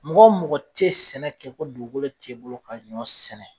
Mɔgɔ o mɔgɔ te sɛnɛ kɛ ko dugukolo t'i bolo ka ɲɔn sɛnɛ